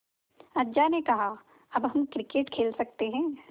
अज्जा ने कहा अब हम क्रिकेट खेल सकते हैं